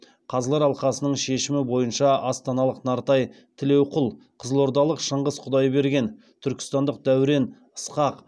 қазылар алқасының шешімі бойынша астаналық нартай тілеуқұл қызылордалық шыңғыс құдайберген түркістандық дәурен ысқақ